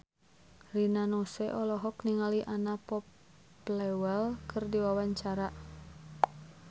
Rina Nose olohok ningali Anna Popplewell keur diwawancara